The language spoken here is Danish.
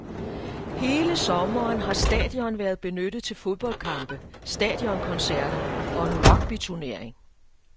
Hele sommeren har stadion været benyttet til fodboldkampe, stadionkoncerter og en rugbyturnering.